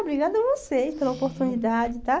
Obrigada a vocês pela oportunidade tá.